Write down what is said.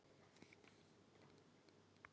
spurði ég Sölva en hann svaraði engu.